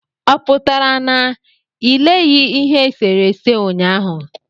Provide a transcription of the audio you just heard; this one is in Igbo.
ọpụtara na i leghị ihe esere ese ụnyaahụ?